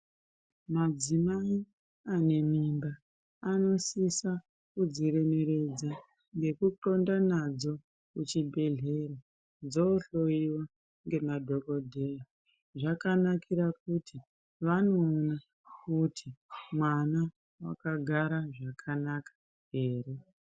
Madzimai anemimba, anosisa kudziremeredza, ngekunxonda nadzo kuchibhedhleya, dzohloyiwa ngemadhokodheya, zvakanakira kuti vanouya voti mwana wakagara zvakanaka ere?